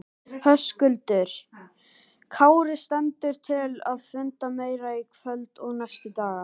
Höskuldur Kári: Stendur til að funda meira í kvöld og næstu daga?